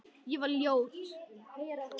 Ég var ljót.